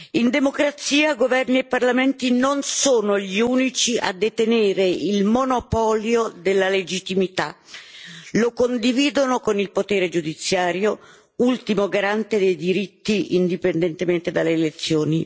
In democrazia, governi e parlamenti non sono gli unici a detenere il monopolio della legittimità lo condividono con il potere giudiziario ultimo garante dei diritti indipendentemente dalle elezioni.